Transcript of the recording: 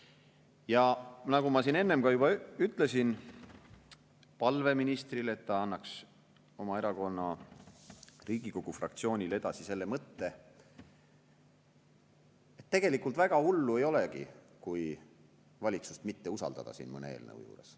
Ja nagu ma siin enne juba ütlesin – esitasin ministrile palve, et ta annaks oma erakonna Riigikogu fraktsioonile edasi selle mõtte –, tegelikult väga hullu ei olegi, kui valitsust mitte usaldada siin mõne eelnõu juures.